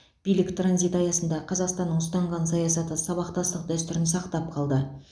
билік транзиті аясында қазақстанның ұстанған саясаты сабақтастық дәстүрін сақтап қалды